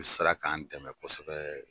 U sera k'an dɛmɛ kosɛbɛ.